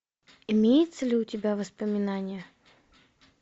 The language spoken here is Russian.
имеется ли у тебя воспоминание